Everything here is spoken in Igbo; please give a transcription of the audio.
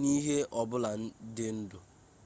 n'ihe ọbụla dị ndụ